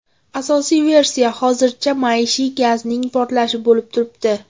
Asosiy versiya hozircha maishiy gazning portlashi bo‘lib turibdi.